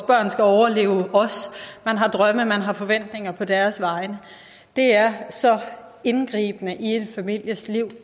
børn skal overleve os man har drømme man har forventninger på deres vegne det er så indgribende i en families liv